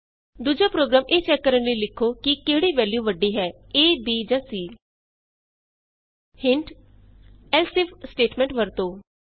ਦੂਜਾ ਪ੍ਰੋਗਰਾਮ ਇਹ ਚੈਕ ਕਰਨ ਲਈ ਲਿਖੋ ਕਿ ਕਿਹੜੀ ਵੈਲਯੂ ਵੱਡੀ ਹੈ ਏ b ਜਾਂ c Hint else if statement ਵਰਤੋ